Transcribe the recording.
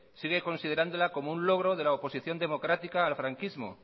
sigue considerándola como un logro de la oposición democrática al franquismo